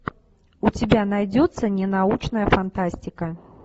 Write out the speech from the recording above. у тебя найдется ненаучная фантастика